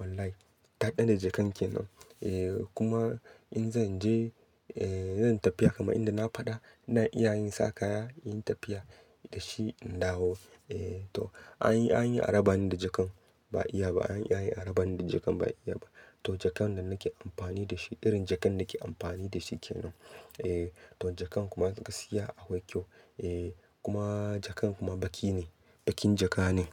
Wallahi daɗaɗa jaka kenan. Eh kuma in zan je, eh in zan tafiya kamar inda na faɗa ina iya in sa kaya, inyi tafiya da shi in dawo. Eh toh, an yi, an yi arabani da jakan ba iya ba. An yi arabani da jakan, ba iya ba. Toh jakan nan nake amfani da shi. Irin jakan nake amfani da shi kenan. Eh to jaka kuma gaskiya akwai kyau. Eh, kuma jakan kuma baƙi ne. Baƙin jaka ne.